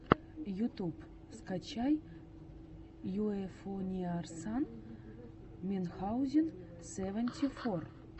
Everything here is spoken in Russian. ютуб скачай юэфоуниарсан минхаузен сэванти фор